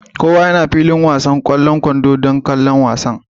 Kowa yana filin wasan kwallon kwando don kallon wasan